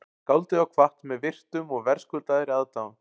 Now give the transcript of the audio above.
Skáldið var kvatt með virktum og verðskuldaðri aðdáun